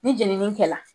Ni jenini kɛla